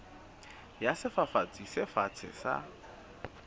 ya sefafatsi se fatshe sa